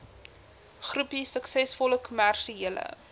groepie suksesvolle kommersiële